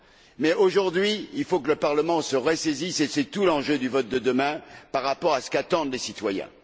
Mais aujourd'hui, il faut que le Parlement se ressaisisse et c'est tout l'enjeu du vote de demain, par rapport à ce qu'attendent les citoyens.